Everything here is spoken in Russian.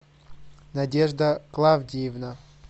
надежда клавдиевна